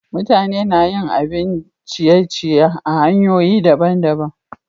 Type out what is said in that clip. Mutane na yin abin ciye-ciye a'hanyoyi dabban-dabban.